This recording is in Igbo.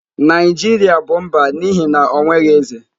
Naijiria bụ mba n'ihi na o nweghị eze.